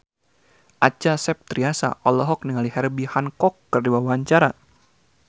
Acha Septriasa olohok ningali Herbie Hancock keur diwawancara